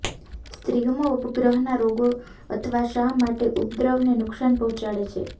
સ્ત્રીઓમાં ઉપગ્રહના રોગો અથવા શા માટે ઉપદ્રવને નુકસાન પહોંચાડે છે